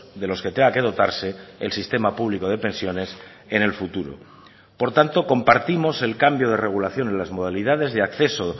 de los que tenga que dotarse el sistema público de pensiones en el futuro por tanto compartimos el cambio de regulación en las modalidades de acceso